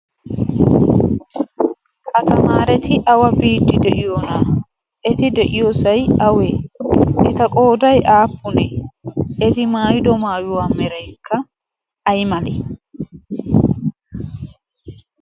ha tamaareti awa biiddi de'iyoonaa eti de'iyoosai awee ita qoodai aappunie eti maayido maayuwaa mereikka ay malee?